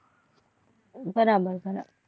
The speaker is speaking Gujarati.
બરાબર